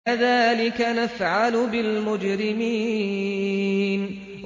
كَذَٰلِكَ نَفْعَلُ بِالْمُجْرِمِينَ